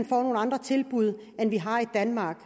får nogle andre tilbud end vi har i danmark